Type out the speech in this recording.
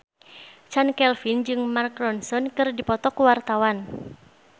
Chand Kelvin jeung Mark Ronson keur dipoto ku wartawan